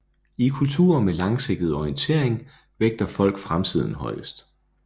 I kulturer med langsigtet orientering vægter folk fremtiden højest